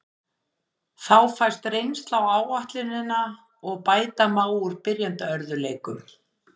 Þá fæst reynsla á áætlunina og bæta má úr byrjunarörðugleikum.